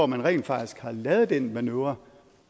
man rent faktisk har lavet den manøvre